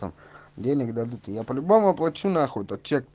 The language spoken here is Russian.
сам денег дадут я по-любому оплачу нахуй этот чек